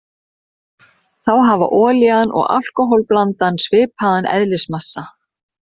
Þá hafa olían og alkóhól-blandan svipaðan eðlismassa.